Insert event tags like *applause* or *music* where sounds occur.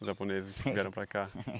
Os japoneses que vieram para cá. *laughs*